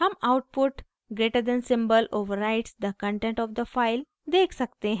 हम output greater than symbol > overwrites the content of the file! देख सकते हैं